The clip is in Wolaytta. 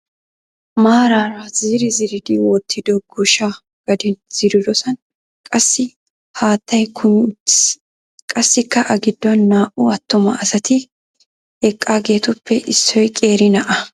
Maarara ziri ziridi wottido goshsha gaden ziridosan qassi haattay kumi uttis. Qassikka A giddon naa"u attuma asati eqqaageetuppe issoy qeeri na'aa.